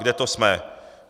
Kde to jsme?